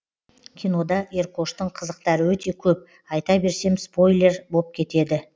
кинода еркоштың қызықтары өте көп айта берсем спойлер боп кетеді